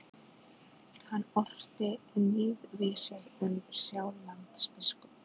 Hann orti níðvísur um Sjálandsbiskup.